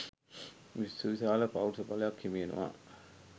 සුවිශාල පෞරුෂ බලයක් හිමි වෙනවා